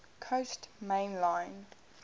coast main line